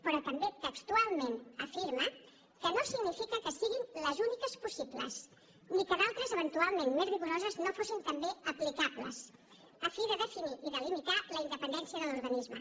però també textualment afirma que no significa que siguin les úniques possibles ni que d’altres eventualment més rigoroses no fossin també aplicables a fi de definir i de limitar la independència de l’organisme